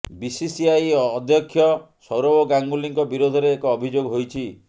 BCCI ଅଧ୍ୟକ୍ଷ ସୌରଭ ଗାଙ୍ଗୁଲିଙ୍କ ବିରୋଧରେ ଏକ ଅଭିଯୋଗ ହୋଇଛି